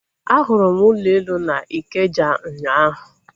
A hụrụ m ụlọ elu na Ikeja ụnyaahụ